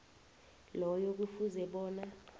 loyo kufuze bona